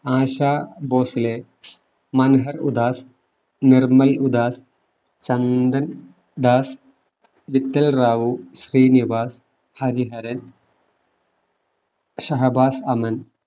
ASHA Bhosle, Manhar Udas, Nirmal Udas, Chandan Das, Mittal Rao, Srinivas, Hariharan Shahbaz Aman